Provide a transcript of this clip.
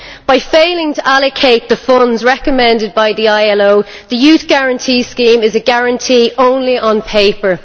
By failing to allocate the funds recommended by the ILO, the Youth Guarantee Scheme is a guarantee only on paper.